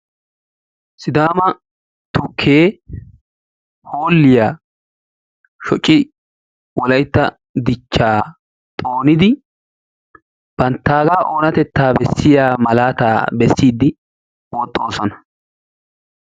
Sidaama tukkee hoolliya shociiddi Wolaytta Dichchaa xoonidi banttaagaa oonatettaa dichchiya malaataa bessiiddi woxxoosona.